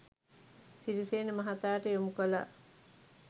සිරිසේන මහතාට යොමු කළා